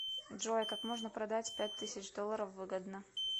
джой как можно продать пять тысяч долларов выгодно